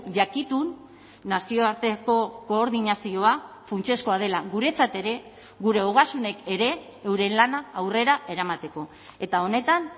jakitun nazioarteko koordinazioa funtsezkoa dela guretzat ere gure ogasunek ere euren lana aurrera eramateko eta honetan